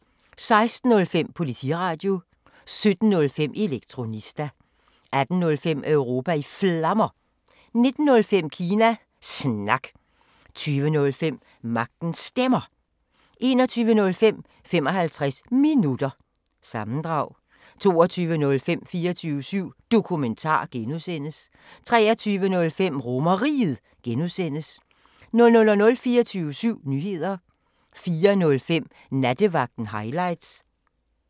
16:05: Politiradio 17:05: Elektronista 18:05: Europa i Flammer 19:05: Kina Snak 20:05: Magtens Stemmer 21:05: 55 Minutter – sammendrag 22:05: 24syv Dokumentar (G) 23:05: RomerRiget (G) 00:00: 24syv Nyheder 04:05: Nattevagten Highlights